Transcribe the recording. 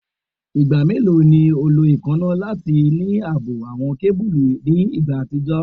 Igba melo ni o lo eekanna tack lati ni aabo awọn kebulu ni igba atijọ?